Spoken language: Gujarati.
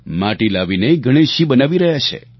માટી લાવીને ગણેશજી બનાવી રહ્યા છે